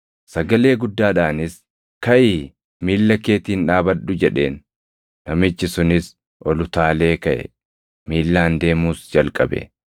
sagalee guddaadhaanis, “Kaʼii miilla keetiin dhaabadhu!” jedheen. Namichi sunis ol utaalee kaʼe; miillaan deemuus jalqabe.